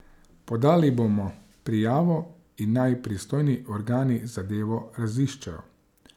Podali bomo prijavo in naj pristojni organi zadevo raziščejo.